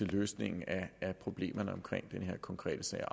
løsningen af problemerne omkring den her konkrete sag